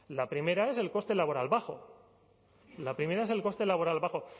la primera es el coste laboral bajo la primera es el coste laboral bajo